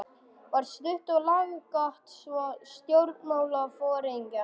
var stutt og laggott svar stjórnmálaforingjans.